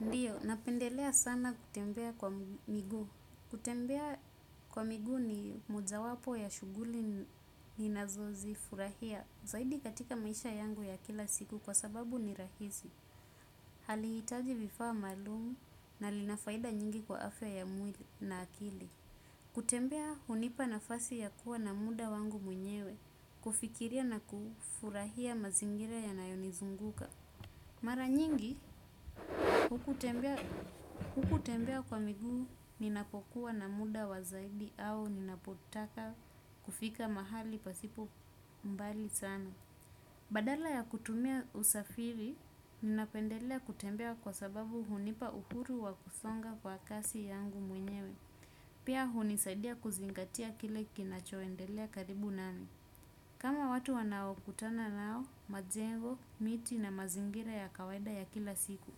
Ndiyo, napendelea sana kutembea kwa miguu. Kutembea kwa miguu ni moja wapo ya shuguli ni nazozi furahia. Zaidi katika maisha yangu ya kila siku kwa sababu ni rahizi. Haliitaji vifaa maalumu na linafaida nyingi kwa afya ya mwili na akili. Kutembea unipa nafasi ya kuwa na muda wangu mwenyewe. Kufikiria na kufurahia mazingira ya nayonizunguka. Mara nyingi, hukutembea kwa miguu ninapokuwa na muda wazaidi au ninapotaka kufika mahali pasipo mbali sana. Badala ya kutumia usafiri, ninapendelea kutembea kwa sababu hunipa uhuru wa kusonga kwa kasi yangu mwenyewe. Pia unisaidia kuzingatia kile kinachoendelea karibu nami. Kama watu wanao kutana nao, majengo, miti na mazingira ya kawaida ya kila siku.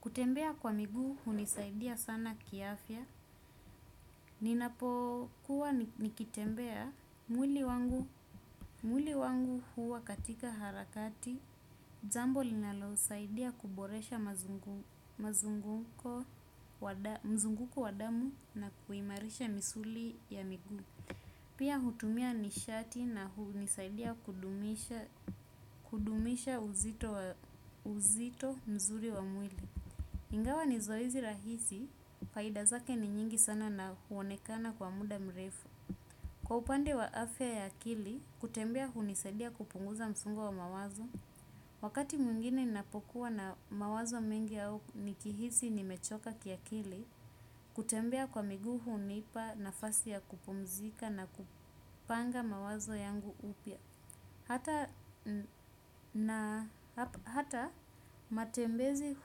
Kutembea kwa miguu, hunisaidia sana kiafya. Ninapo kuwa nikitembea mwili wangu huwa katika harakati. Jambo linalo saidia kuboresha mazunguko, mzunguko wa damu na kuimarisha misuli ya miguu. Pia hutumia nishati na hunisaidia kudumisha uzito mzuri wa mwili. Ingawa ni zoezi rahisi, faida zake ni nyingi sana na huonekana kwa muda mrefu. Kwa upande wa afya ya akili, kutembia hunisaidia kupunguza msongo wa mawazo. Wakati mwingine napokuwa na mawazo mingi yao nikihizi ni mechoka kia kili, kutembea kwa miguhu unipa nafasi ya kupomzika na kupanga mawazo yangu upya. Hata matembezi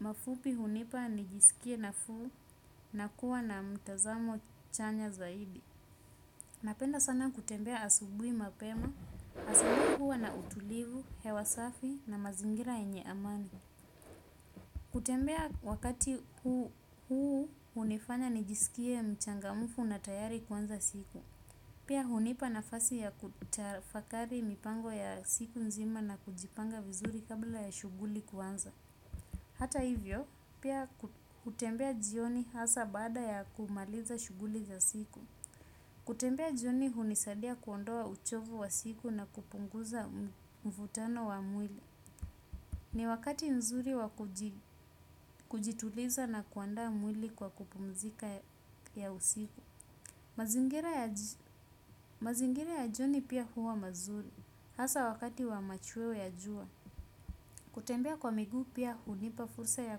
mafupi unipa nijisikie nafuu na kuwa na mtazamo chanya zaidi. Napenda sana kutembea asubui mapema, asabui huwa na utulivu, hewasafi na mazingira enye amani. Kutembea wakati huu unifanya nijisikie mchangamufu na tayari kuanza siku. Pia hunipa nafasai ya kutafakari mipango ya ysiku nzima kabla ya shuguli kuanza haata hivyo pia hutembea jioni hasa baada ya kumaliza shuguli za siku. Kutembea jioni hunisadia kuondoa uchovu wa siku na kupunguza mvutano wa mwili. Ni wakati mzuri wa kujituliza na kuandaa mwali kwa mapumziko wa usiku mazingira ya mazingira ya joni pia huwa mazuri. Hasa wakati wa machweo ya jua. Kutembea kwa migu pia unipafursa ya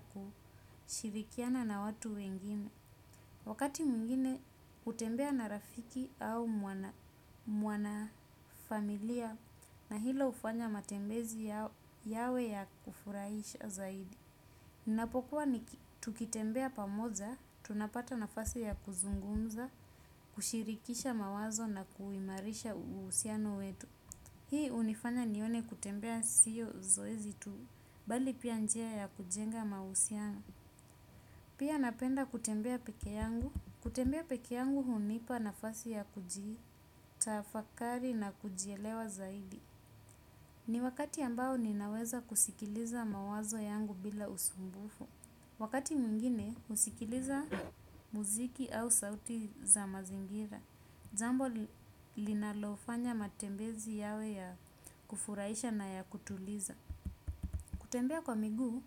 kushirikiana na watu wengine. Wakati mwingine utembea na rafiki au mwana familia na hilo ufanya matembezi yawe ya kufuraisha zaidi. Kuwa ni tukitembea pamoja, tunapata nafasi ya kuzungumza, kushirikisha mawazo na kuimarisha usiano wetu. Hii unifanya nione kutembea siyo zoezi tu, bali pia njia ya kujenga mausiano. Pia napenda kutembea peke yangu. Kutembea peke yangu hunipa nafasi ya kujii, tafakari na kujielewa zaidi. Ni wakati ambao ninaweza kusikiliza mawazo yangu bila usumbufu. Wakati mwingine, usikiliza muziki au sauti za mazingira. Jambo linalofanya matembezi yawe ya kufuraisha na ya kutuliza. Kutembea kwa miguu,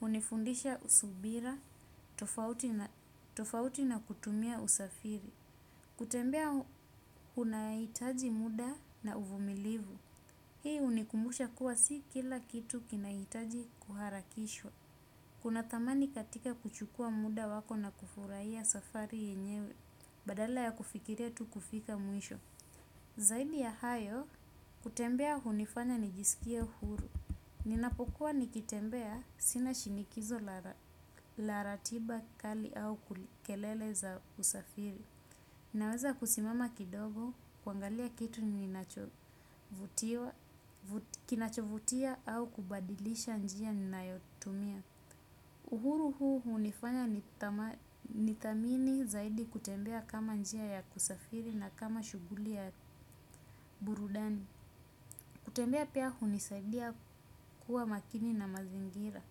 unifundisha usubira, tofauti na kutumia usafiri. Kutembea kunaitaji muda na uvumilivu. Hii unikumbusha kuwa si kila kitu kinaitaji kuharakishwa. Kuna thamani katika kuchukua muda wako na kufurahia safari yenyewe badala ya kufikiria tu kufika mwisho. Zaidi ya hayo, kutembea hunifanya nijisikia uhuru. Ninapokuwa nikitembea sina shinikizo la ratiba kali au kulele za usafiri. Naweza kusimama kidogo, kuangalia kitu kinacho vutia au kubadilisha njia ninayo tumia. Uhuru huu hunifanya nithamini zaidi kutembea kama njia ya kusafiri na kama shuguli ya burudani. Kutembea pia hunisaidia kuwa makini na mazingira.